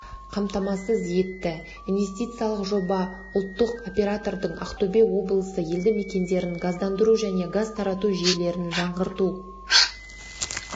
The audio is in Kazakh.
қамтамасыз етті инвестициялық жоба ұлттық оператордың ақтөбе облысының елді-мекендерін газдандыру және газ тарату жүйелерін жаңғырту